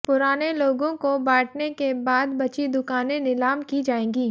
पुराने लोगों को बांटने के बाद बची दुकानें नीलाम की जाएंगी